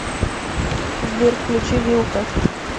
сбер включи вилко